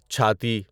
چھاتی